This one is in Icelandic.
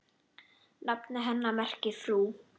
Nafn hennar merkir frú.